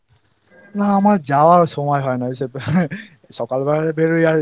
না আমার যাওয়ার সময় হয়না ওইসব জায়গায়। সকাল